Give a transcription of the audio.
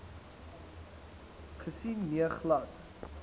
gesien nee glad